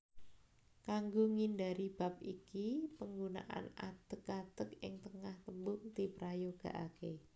Kanggo ngindhari bab iki panggunaan adeg adeg ing tengah tembung diprayogakaké